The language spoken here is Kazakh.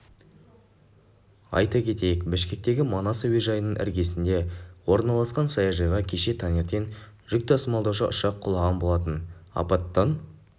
айта кетейік бішкектегі манас әуежайының іргесінде орналасқан саяжайға кеше таңертең жүк тасымалдаушы ұшақ құлаған болатын апаттан